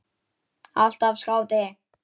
Alltaf skáti.